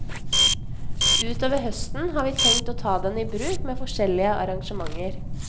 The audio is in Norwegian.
Utover høsten har vi tenkt å ta den i bruk med forskjellige arrangementer.